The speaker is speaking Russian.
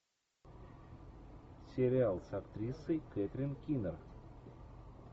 сериал с актрисой кэтрин кинер